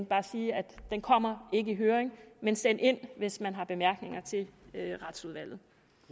bare sige at den kommer ikke i høring men send ind hvis man har bemærkninger til retsudvalget